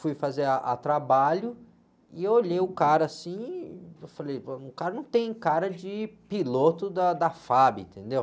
Fui fazer a, a trabalho e olhei o cara, assim, eu falei, o cara não tem cara de piloto da, da fá-bi, entendeu?